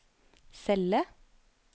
celle